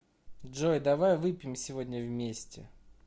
джой давай выпьем сегодня вместе